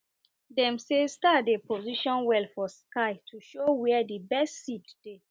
dem say star dey position well for sky to show where d best seed dey